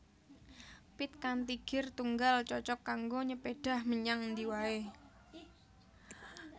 Pit kanthi gir tunggal cocog kanggo nyepédhah menyang endi waé